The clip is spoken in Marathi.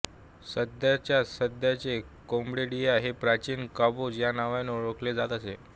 सध्याच्या सध्याचे कंबोडिया हे प्राचीन कंबोज या नावाने ओळखले जात असे